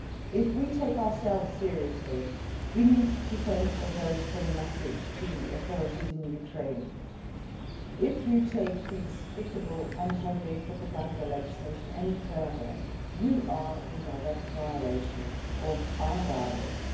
If we take ourselves seriously, we need to send a very strong message to the authorities in Ukraine that if they take the despicable anti gay propaganda legislation any further, they are in direct violation of our dialogue.